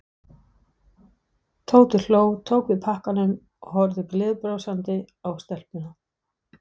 Tóti hló, tók við pakkanum og horfði gleiðbrosandi á stelpuna.